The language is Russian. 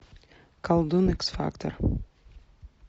колдун икс фактор